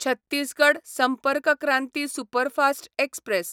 Chhattisgarh Sampark Kranti superfast express